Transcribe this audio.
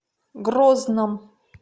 грозном